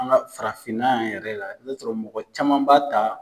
An ka farafinna yan yɛrɛ la, i ba sɔrɔ mɔgɔ caman b'a ta.